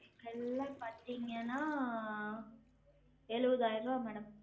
எல்லா பாத்தீங்கன்னா எழுவதாயிருவா madam